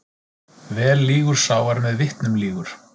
Vel lýgur sá er með vitnum lýgur.